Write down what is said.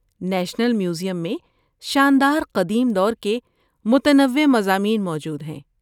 National museum میں شاندار قدیم دور کے متنوع مضامین موجود ہیں۔